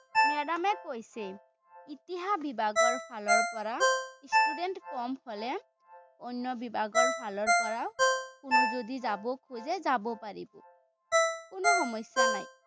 madam এ কৈছে। ইতিহাস বিভাগৰফালৰপৰা student ক'ম হ'লে, অন্য বিভাগৰফালৰপৰাও কোনো যদি যাব খোজে যাব পাৰিব। কোনো সমস্যা নাই।